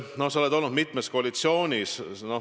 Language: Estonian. Sa oled olnud mitmes koalitsioonis.